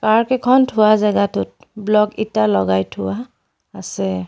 কাৰ কেইখন থোৱা জেগাটোত ব্লক ইটা লগাই থোৱা আছে।